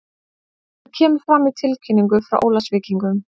Þetta kemur fram í tilkynningu frá Ólafsvíkingum.